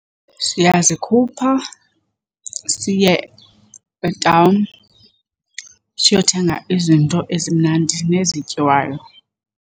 Siyazikhupha siye etawuni siyothenga izinto ezimnandi nezityiwayo.